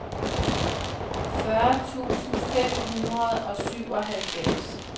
fyrre tusind fem hundrede og syvoghalvfems